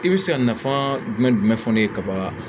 I bɛ se ka nafa jumɛn fɔ ne ye kaban